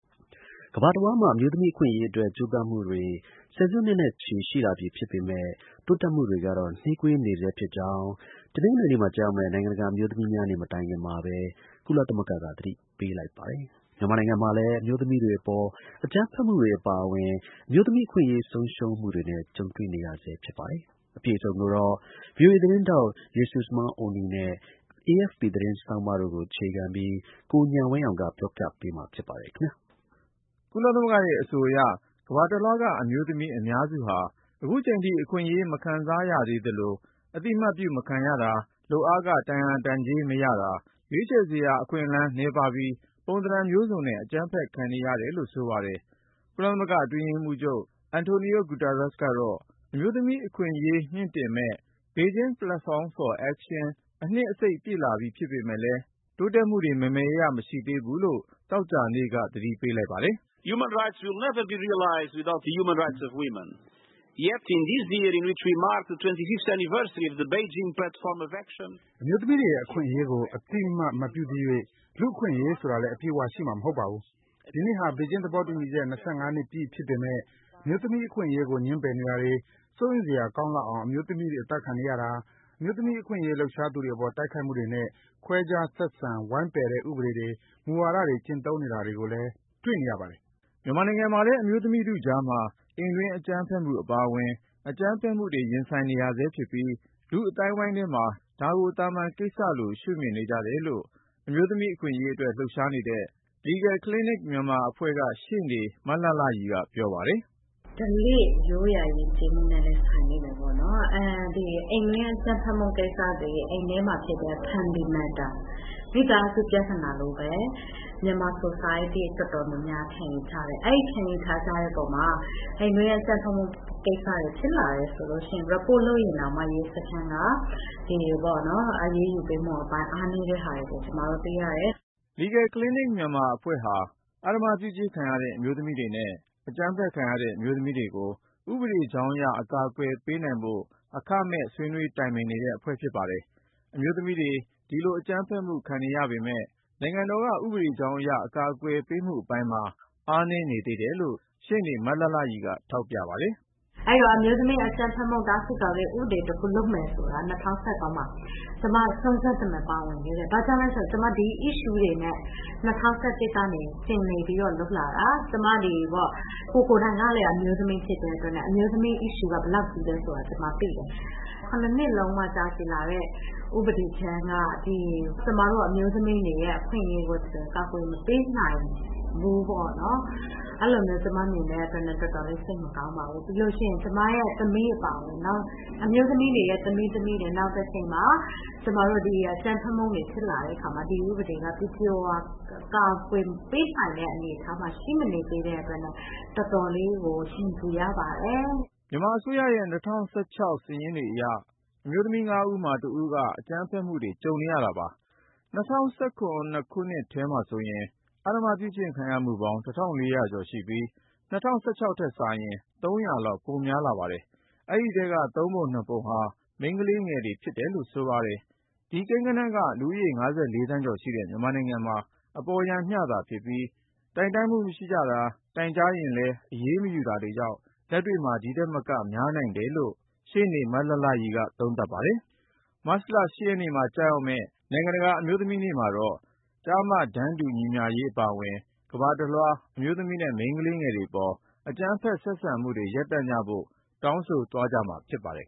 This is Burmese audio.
ကမ္ဘာတဝှမ်းမှာ အမျိုးသမီးအခွင့်အရေးအတွက် ကြိုးပမ်းမှုတွေ ဆယ်စုနှစ်နဲ့ချီ ရှိလာနေပြီဖြစ်ပေမဲ့ တိုးတက်မှုကတော့ နှေးကွေးနေဆဲ ဖြစ်ကြောင်း တနင်္ဂနွေနေ့မှာ ကျရောက်မယ့် နိုင်ငံတကာ အမျိုးသမီးများနေ့ မတိုင်ခင်မှာပဲ ကုလသမဂ္ဂက သတိပေးလိုက်ပါတယ်။ မြန်မာနိုင်ငံ မှာလည်း အမျိုးသမီးတွေအပေါ် အကြမ်းဖက်မှုတွေအပါအဝင် အမျိုးသမီးတွေ အခွင့်အရေး ဆုံးရှုံးမှုတွေနဲ့ ကြုံနေရဆဲဖြစ်ပါတယ်။ အပြည့်အစုံကိုတော့ VOA Jesusemen Oni နဲ့ AFP သတင်းဆောင်းပါး တွေပေါ် အခြေခံပြီး ကိုဉာဏ်ဝင်းအောင်က တင်ပြမှာပါ။ ကုလသမဂ္ဂရဲ့ အဆိုအရ ကမ္ဘာတလွှားက အမျိုးသမီးအများစုဟာ အခုချိန်ထိ အခွင့်အရေး မခံစားရသေးသလို အသိအမှတ်ပြု မခံရတာ၊ လုပ်အားခ တန်ရာတန်ကြေး မရတာ၊ ရွေးချယ်စရာ အခွင့်လမ်းနည်းပါးပြီး ပုံသဏ္ဍန်မျိုးစုံနဲ့ အကြမ်းဖက် ခံနေရတယ်လို့ ဆိုပါတယ်။ ကုလသမဂ္ဂ အတွင်းရေးမှူးချုပ် António Guterres ကတော့ အမျိုးသမီးအခွင့်အရေး မြှင့်တင်မယ့် Beijing Platform for Action အနှစ် အစိတ်ပြည့်လာပြီ ဖြစ်ပေမဲ့ တိုးတက်မှုတွေ မယ်မယ်ရရ မရှိသေးဘူးလို့ သောကြာနေ့ကပဲ သတိပေးလိုက်ပါတယ်။ “အမျိုးသမီးတွေရဲ့ အခွင့်အရေးကို အသိအမှတ် မပြုသရွေ့ လူ့အခွင့်အရေး ဆိုတာလည်း အပြည့်အဝ ရှိမှာ မဟုတ်ပါဘူး။ ဒီနှစ်ဟာ ဘေဂျင်း သဘောတူညီချက် ၂၅ နှစ်ပြည့် ဖြစ်ပေမဲ့ အမျိုးသမီး အခွင့်အရေးကို ငြင်းပယ်နေတာတွေ၊ စိုးရိမ်စရာကောင်းလောက်အောင် အမျိုးသမီးတွေ သတ်ဖြတ်ခံနေရတာ ၊ အမျိုးသမီးအခွင့်အရေး လှုပ်ရှားသူတွေအပေါ် တိုက်ခိုက်မှုတွေနဲ့ ခွဲခြားဆက်ဆံ ဝိုင်းပယ်တဲ့ ဥပဒေတွေ၊ မူဝါဒတွေ ကျင့်သုံး နေတာတွေကိုလည်း တွေ့နေရပါတယ်။” မြန်မာနိုင်ငံမှာလည်း အမျိုးသမီးထုကြားမှာ အိမ်တွင်းအကြမ်းဖက်မှု အပါဝင် အကြမ်းဖက်မှုတွေ ရင်ဆိုင်နေရဆဲဖြစ်ပြီး၊ လူ့အသိုင်းဝိုင်းထဲမှာ ဒါကို သာမန်ကိစ္စလို ရှုမြင်နေကြတယ်လို့ အမျိုးသမီး အခွင့်အရေးအတွက် လှုပ်ရှားနေတဲ့ Legal Clinic Myanmar အဖွဲ့က ရှေ့နေ မလှလှရီက ပြောပါတယ်။ “ဓလေ့ ရိုးရာယဉ်ကျေးမှုနဲ့လည်း ဆိုင်လိမ့်မယ်ပေါ့နော်။ အိမ်တွင်းအကြမ်းဖက်မှု ကိစ္စတွေ အိမ်ထဲမှာဖြစ်တဲ့ မိသားစု ပြဿနာလိုပဲ မြန်မာ society တော်တော်များများက ခံယူထားကြတယ်။ အဲဒီ ခံယူထားကြတဲ့အပေါ်မှာ အိမ်တွင်းအကြမ်းဖက်မှု ကိစ္စတွေ ဖြစ်လာတယ်ဆိုရင် report လုပ်ရင်တောင်မှ ရဲစခန်းက အရေးယူပေးမှုအပိုင်း အားနည်းတာတွေကို ကျမတို့ တွေ့ရတယ်။” “အဲဒီတော့ အမျိုးသမီးတွေ ဒီလိုအကြမ်းဖက်မှု တားဆီးကာကွယ်ရေးဥပဒေ လုပ်မယ်ဆိုတာက ၂၀၁၃မှာ ကျမ စွမ်းစွမ်းတမံ ပါဝင်ခဲ့တယ်။ ဘာကြောင့်လဲဆိုတော့ ကျမ ဒီ Issue တွေနဲ့ ၂၀၁၁ ကနေ လုပ်လာတာ။ ကိုယ်တိုင်ကလည်း အမျိုးသမီး ဖြစ်တဲ့အတွက်နဲ့ အမျိုးသမီး Issue ကလည်း ဘယ်လောက်ကြီးသလဲဆိုတာ ကျမသိတယ်။ ဒီလောက်အထိ ၇ နှစ်လုံးလုံး ကြာရှည်လာတဲ့ ဥပဒေကြမ်းက ကျမတို့ အမျိုးသမီးတွေရဲ့ အခွင့်အရေးကို ကာကွယ်မပေးနိုင်ဘူးပေါ့နော်။ အဲလိုမျိုး ကျမမြင်တဲ့အတွက် တော်တော်လေး စိတ်မကောင်းပါဘူး။ ပြီးရင် ကျမရဲ့ သမီးအပါအဝင် နောက် အမျိုးသမီးတွေရဲ့ သမီးတွေ နောင်တချိန်မှာ အကြမ်းဖက်မှုတွေ ဖြစ်လာတဲ့အခါမှာ ဒီဥပဒေက ပြည့်ပြည့်၀၀ ကာကွယ်ပေးနိုင်တဲ့ အနေအထားမှာ ရှိမနေသေးတဲ့အတွက် တော်တော်လေးကို ရင်ပူရပါတယ်။” မြန်မာအစိုးရရဲ့ ၂၀၁၆ စာရင်းတွေအရ အမျိုးသမီး ၅ ဦးမှာ ၁ ဦးက အကြမ်းဖက်မှု ကြုံနေရတာပါ။ ၂၀၁၇ ခုနှစ်ထဲမှာဆိုရင် အဓမ္မပြုကျင့်ခံရ မှုပေါင်း ကျော်ရှိပြီး၊ ၂၀၁၆ ခုနှစ်ထက်စာရင် လောက် ပိုများလာပါတယ်။ အဲဒီထဲက သုံးပုံနှစ်ပုံဟာ မိန်းကလေးငယ်တွေ ဖြစ်တယ်လို့ ဆိုပါတယ်။ ဒီကိန်းဂဏန်းက လူဦးရေ ၅၄ သန်းကျော်ရှိတဲ့ မြန်မာနိုင်ငံမှာ အပေါ်ယံမျှသာဖြစ်ပြီး တိုင်တန်းမှုမရှိကြတာ၊ တိုင်ကြားရင်လည်း အရေးမယူတာတွေကြောင့် လက်တွေ့မှာ ဒီထက်မက များနိုင်တယ်လို့ ရှေ့နေ မလှလှရီက ပြောပါတယ်။ မတ်လ ရက်နေ့မှာ ကျရောက်မယ့် နိုင်ငံတကာ အမျိုးသမီးများနေ့မှာတော့ ကျားမ တန်းတူညီမျှရေးအပါအဝင် ကမ္ဘာတလွှား အမျိုးသမီးနဲ့ မိန်းကလေးငယ်တွေပေါ် အကြမ်းဖက်ဆက်ဆံမှုတွေ ရပ်တန့်ကြဖို့ တောင်းဆိုမှာဖြစ်ပါတယ်